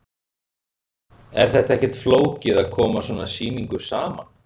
Er þetta ekkert flókið að koma svona sýningu saman?